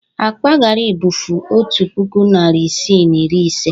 Akpa gari bụfu otu puku naịra isii na iri ise.